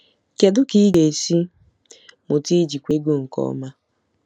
Kedu ka ị ga-esi mụta ijikwa ego nke ọma?